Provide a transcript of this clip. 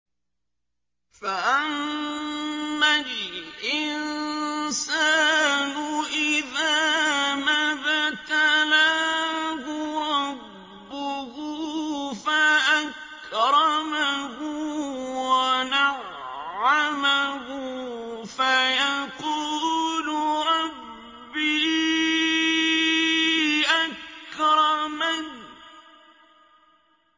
فَأَمَّا الْإِنسَانُ إِذَا مَا ابْتَلَاهُ رَبُّهُ فَأَكْرَمَهُ وَنَعَّمَهُ فَيَقُولُ رَبِّي أَكْرَمَنِ